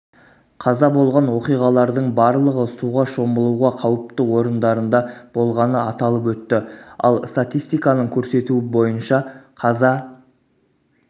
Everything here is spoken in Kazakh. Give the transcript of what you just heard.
қаза болған оқиғалардың барлығы суға шомылуға қауіпті орындарында болғаны аталып өтті ал статистиканың көрсетуі бойынша қаза